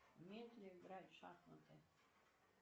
умеет ли играть в шахматы